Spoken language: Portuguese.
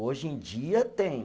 Hoje em dia tem.